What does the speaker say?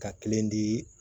Ka kelen di